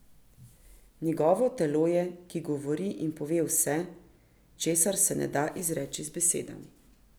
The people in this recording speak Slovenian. Njegovo telo je, ki govori in pove vse, česar se ne da izreči z besedami.